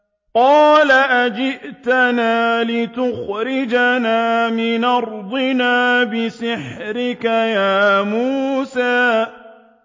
قَالَ أَجِئْتَنَا لِتُخْرِجَنَا مِنْ أَرْضِنَا بِسِحْرِكَ يَا مُوسَىٰ